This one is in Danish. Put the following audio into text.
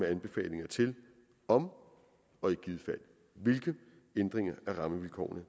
anbefalinger til om og i givet fald hvilke ændringer af rammevilkårene